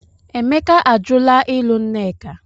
Emeka ajụla ịlụ Nneka.